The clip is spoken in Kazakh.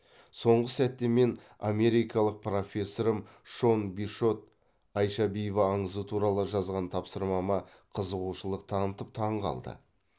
соңғы сәтте мен америкалық профессорым шон бишот айша бибі аңызы туралы жазған тапсырмама қызығушылық танытып таң қалды